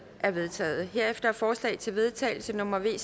er vedtaget herefter er forslag til vedtagelse nummer v